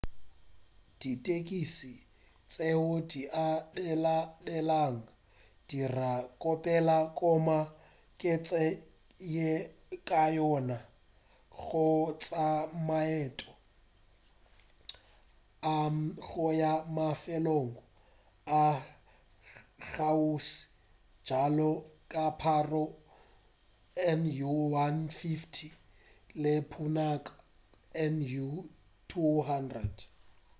ditekisi tšeo di abelanelwago di dira kapela gomme ke tsela ye kaone ya go tšea maeto a go ya mafelong a kgauswi bjalo ka paro nu 150 le punakha nu 200